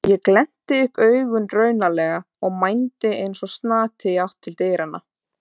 Ég glennti upp augun raunalega og mændi eins og snati í átt til dyranna.